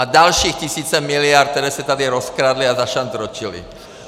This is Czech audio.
A další tisíce miliard, které se tady rozkradly a zašantročily.